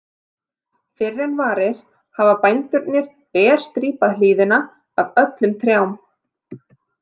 Fyrr en varir hafa bændurnir berstrípað hlíðina af öllum trjám.